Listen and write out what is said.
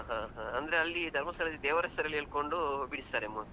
ಹಾ ಹಾ ಅಂದ್ರೆ ಅಲ್ಲಿ ಧರ್ಮಸ್ಥಳದಲ್ಲಿ ದೇವರ ಹೆಸರೆಲ್ಲಿ ಹೇಳ್ಕೊಂಡು ಬಿಡಿಸ್ತಾರೆ mostly .